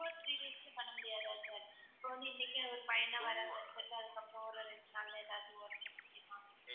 two or three days ல பண்ண முடியாதா sir இப்ப வந்து இன்னைக்கே ஒரு பையனை வரவெச்சிட்டு அதுக்கப்புறம் ஒரு ரெண்டு நாள்ல ஏதாச்சு முடியுமா